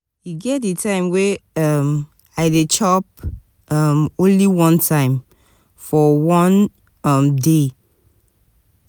e get di time wey um i dey chop um only one time for one um day.